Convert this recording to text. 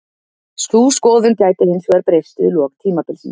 Sú skoðun gæti hinsvegar breyst við lok tímabilsins.